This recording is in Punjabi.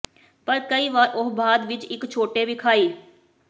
ਪਰ ਕਈ ਵਾਰ ਉਹ ਬਾਅਦ ਵਿਚ ਇੱਕ ਛੋਟੇ ਵਿਖਾਈ